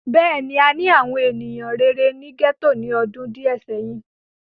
Bẹ́ẹ̀ni, àni àwọn eniyan rere ni gẹto ni ọdun diẹ sẹhin.